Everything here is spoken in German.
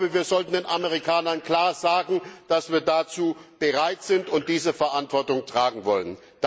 Wir sollten den Amerikanern klar sagen, dass wir dazu bereit sind und diese Verantwortung tragen wollen.